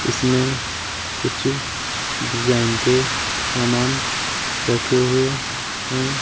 इसमें कुछ डिजाइन के सामान रखे हुए है।